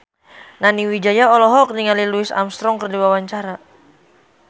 Nani Wijaya olohok ningali Louis Armstrong keur diwawancara